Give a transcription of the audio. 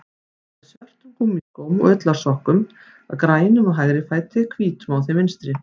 Hún var í svörtum gúmmískóm og ullarsokkum, grænum á hægri fæti, hvítum á þeim vinstri.